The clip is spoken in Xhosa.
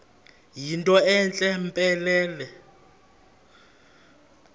yinto entle mpelele